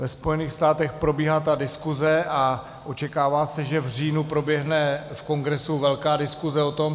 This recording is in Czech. Ve Spojených státech probíhá ta diskuse a očekává se, že v říjnu proběhne v Kongresu velká diskuse o tom.